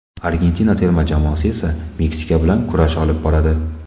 Argentina terma jamoasi esa Meksika bilan kurash olib boradi.